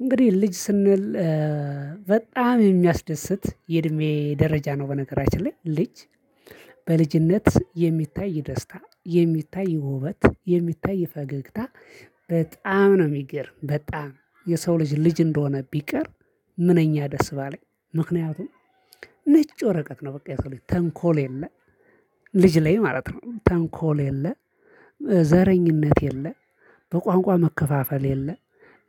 እንግዲህ ልጅ ስንል በጣም የሚያስደስት የእድሜ ደረጃ ነው። በነገራችን ላይ ልጅ በልጅነት የሚታይ የደስታ የሚታይ የውበት የሚታይ ፈገግታ በጣም ነው የሚገርም። በጣም የሰው ልጅ ልጅ እንደሆነ ቢቀር ምነኛ ደስ ባለኝ። ነጭ ወረቀት ነው በቃ የተለየ ተንኮል የለ ልጅ ላይ ማለት ነው ተንኮል የለ። ዘረኝነት የለ በቋንቋ መከፋፈል የለ